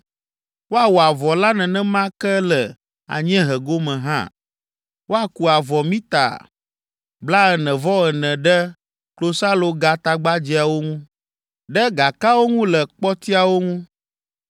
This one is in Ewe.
Woawɔ avɔ la nenema ke le anyiehe gome hã. Woaku avɔ mita blaene-vɔ-ene ɖe klosalogatagbadzɛawo ŋu, ɖe gakawo ŋu le kpɔtiawo ŋu.